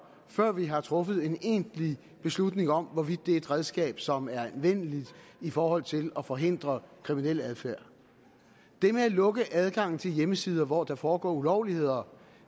før vi har truffet en egentlig beslutning om hvorvidt det er et redskab som er anvendeligt i forhold til at forhindre kriminel adfærd det med at lukke adgangen til hjemmesider hvor der foregår ulovligheder